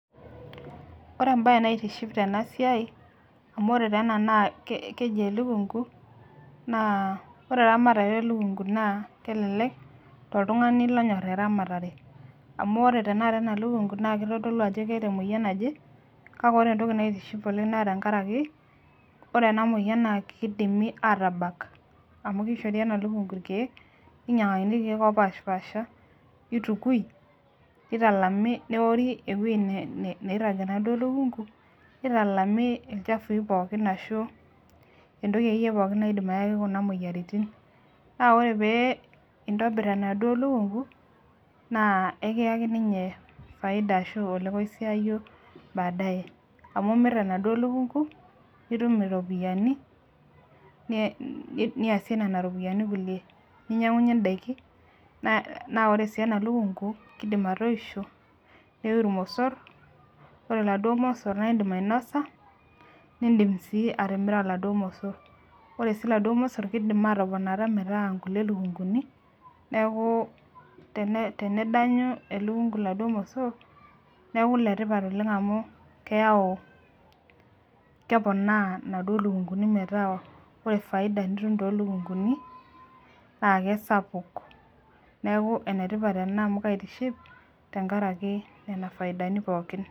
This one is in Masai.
oree embae naitiship tena siai amuu oree enaa naa keji elukung'u naa oree eramatare elukungu naa kelelek toltung'ani onyor eramatere amuu oree tenakata enalukung'u naa kitodolu ajo keeta emoyian naje kake oree entoki naitiship oleng naa tenkarake keidimi aatabak amuu keishori enalukung'u ilkiek ninyang'akini ilkiek opash paasha neitukui newori ewei nairag ena lukung'u neitalami ilchafui pooki ashuu entoki pooki oyaki kuna moyiaritin naa oree pee intobir naduo lukung'u naa kiyaki ninye faida baadae amuu imir naduo lukung'u nitum iropiani niasie nena ropiani kulie ninyang'unye indaiki naa oree sii ena lukung'u naa keidim atoisho neiu ilmosor nidim ainosa nidim sii atimira laduo mosor oree sii laduo mosor naa keidim atoponata meeta kulie lukung'uni neaku tenedanyu elukung'u laduo mosor neaku letipat oleng amuu keponaa naduo lukung'uni meetaa oree faida nitum toolukung'uni naake sapuk neaku enetipat oleng enaa amuu kaitiship nenkarake nena faidani pooki.